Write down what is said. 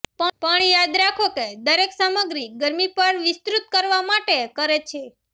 પણ યાદ રાખો કે દરેક સામગ્રી ગરમી પર વિસ્તૃત કરવા માટે કરે છે